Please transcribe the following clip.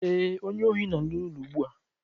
Ee, onye ohi nọ n'ụlọ ugbu a